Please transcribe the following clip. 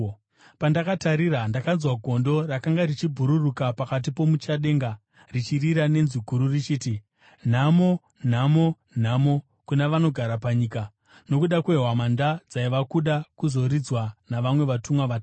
Pandakatarira, ndakanzwa gondo rakanga richibhururuka pakati pomuchadenga richirira nenzwi guru richiti, “Nhamo! Nhamo! Nhamo kuna vanogara panyika, nokuda kwehwamanda dzava kuda kuzoridzwa navamwe vatumwa vatatu!”